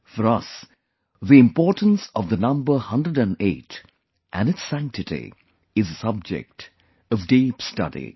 For us the importance of the number 108 and its sanctity is a subject of deep study